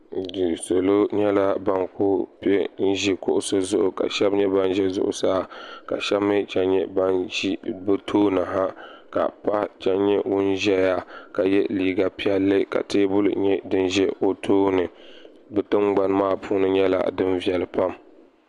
Salo nyɛla ban kuli piɛ n ʒi kuɣusi zuɣu ka sheba nyɛ ban ʒɛ zuɣusaa ka sheba mee chen nyɛ ban ʒi bɛ tooni ha ka paɣa chen nyɛ ŋun ʒɛya ka ye liiga piɛlli ka teebuli nyɛ din ʒɛ o tooni bɛ tingbani maa puuni nyɛla din viɛli pam.